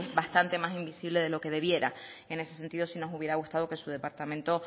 bastante más invisible de lo que debiera en ese sentido si nos hubiera gustado que su departamento